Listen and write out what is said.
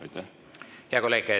Hea kolleeg!